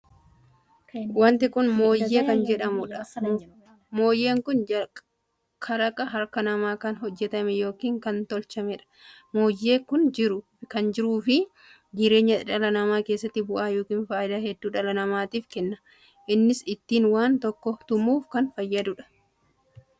Wanti kun moonyee kan jedhamuudha. moonyee kun kalaqaa harka namaan kan hojjetame ykn kan tolchameedha. moonyee kun jiruu fi jireenya dhala namaa keessatti bu'aa ykn faayidaa hedduu dhala namaatiif kenna. innis ittiin waan tokko tumuuf kan fayyaduudha.